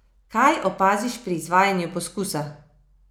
Kaj opaziš pri izvajanju poskusa?